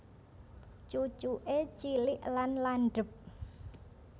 Cucuke cilik lan landhep